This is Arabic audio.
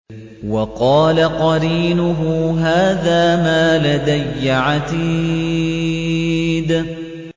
وَقَالَ قَرِينُهُ هَٰذَا مَا لَدَيَّ عَتِيدٌ